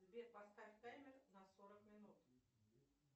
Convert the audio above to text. сбер поставь таймер на сорок минут